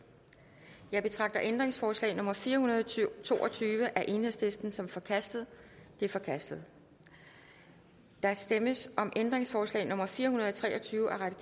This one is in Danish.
jeg betragter ændringsforslag nummer fire hundrede og to og tyve af el som forkastet det er forkastet der stemmes om ændringsforslag nummer fire hundrede og tre og tyve